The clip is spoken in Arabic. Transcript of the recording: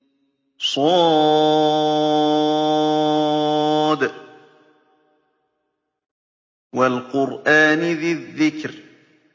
ص ۚ وَالْقُرْآنِ ذِي الذِّكْرِ